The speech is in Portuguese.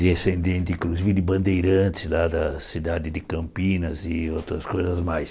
Descendente, inclusive, de Bandeirantes, lá da cidade de Campinas e outras coisas mais.